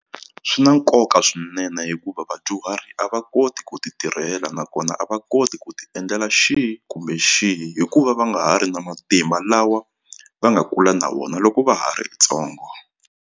Swi na nkoka swinene hikuva vadyuhari a va koti ku ti tirhela nakona a va koti ku ti endlela xihi kumbe xihi hikuva va nga ha ri na matimba lawa va nga kula na vona loko va ha ri ntsongo.